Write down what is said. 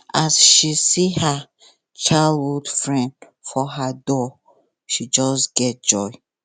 as she see her childhood friend for her door she just get joy